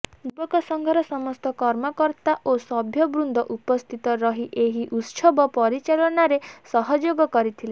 ଯୁବକ ସଂଘର ସମସ୍ତ କର୍ମକର୍ତା ଏବଂ ସଭ୍ୟବୃନ୍ଦ ଉପସ୍ଥିତ ରହି ଏହି ଉତ୍ସବ ପରିଚାଳନାରେ ସହଯୋଗ କରିଥିଲେ